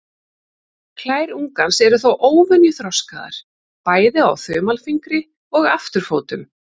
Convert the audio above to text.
Klær ungans eru þó óvenju þroskaðar, bæði á þumalfingri og afturfótum.